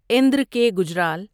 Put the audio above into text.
اندر کے گجرال